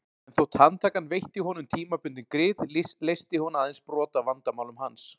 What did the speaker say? En þótt handtakan veitti honum tímabundin grið leysti hún aðeins brot af vandamálum hans.